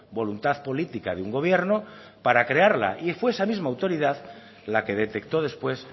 voluntad política de un gobierno para crearla y fue esa misma autoridad la que detectó después